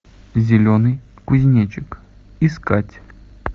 зеленый кузнечик искать